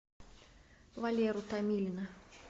валеру томилина